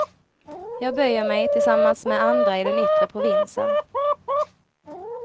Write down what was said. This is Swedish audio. Jag böjer mig, tillsammans med andra i den yttre provinsen.